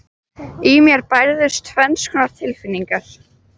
Í mér bærðust tvenns konar tilfinningar.